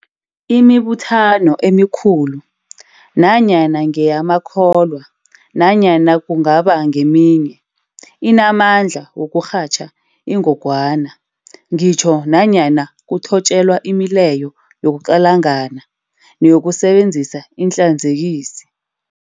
Imibuthano emikhulu, nanyana ngeyamakholwa nanyana kungaba ngeminye, inamandla wokurhatjha ingogwana, ngitjho nanyana kuthotjelwa imileyo yokuqalangana neyokusebenzisa iinhlanzekisi.